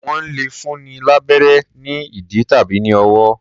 Wọ́n lẹ̀ fúnni lábérẹ́ ní ìdí tàbí ní ọwọ́.